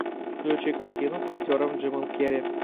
включи картину с актером джимом керри